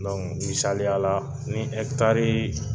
Donku misaliya la ni ɛkitari